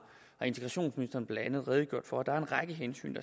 integrationsministeren blandt andet redegjort for der er en række hensyn